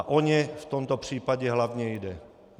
A o ně v tomto případě hlavně jde.